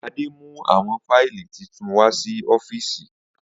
Ade mu awọn fáìlì titun wa si ọ́fíìsì.